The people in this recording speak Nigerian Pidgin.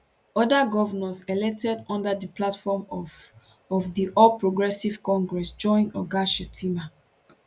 oda govnors elected under di platform of of di all progressives congress join oga shettima